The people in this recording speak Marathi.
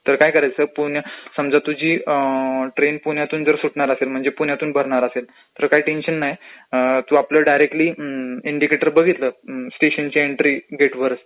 तर काय करायचं पुणे, म्हणजे तुझी ट्रेन समजा पुण्यातूनचं सुटणार असेल, म्हणजे पुण्यातून भरणार असेल तर काय टेन्शन नाही, अ तो आपल्याला डायरेक्टली अम्म्म..इंडीकेटर बघितलं स्टेशनच्या एंन्ट्री गेटवर